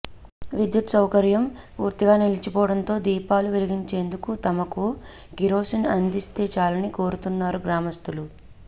విద్యుత్ సౌకర్యం పూర్తిగా నిలిచిపోవడంతో దీపాలు వెలిగించేందుకు తమకు కిరోసిన్ అందిస్తే చాలని కోరుతున్నారు గ్రామస్తులు